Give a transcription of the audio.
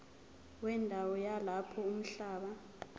wendawo yalapho umhlaba